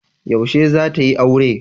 Yaushe zata yi aure?